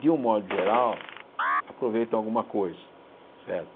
de um modo geral, aproveitam alguma coisa, certo?